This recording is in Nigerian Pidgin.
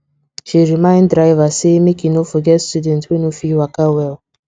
she remind driver say make e no forget student wey no fit waka well